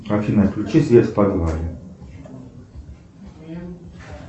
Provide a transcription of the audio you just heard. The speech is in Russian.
афина включи свет в подвале